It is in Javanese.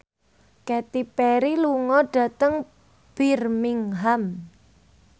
Katy Perry lunga dhateng Birmingham